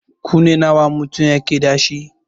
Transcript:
Kunne nawa mutum yake dashi?